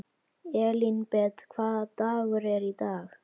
Elínbet, hvaða dagur er í dag?